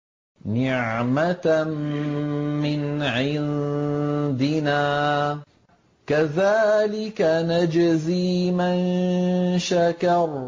نِّعْمَةً مِّنْ عِندِنَا ۚ كَذَٰلِكَ نَجْزِي مَن شَكَرَ